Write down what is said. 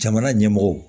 Jamana ɲɛmɔgɔw